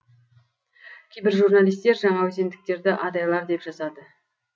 кейбір журналистер жаңаөзендіктерді адайлар деп жазады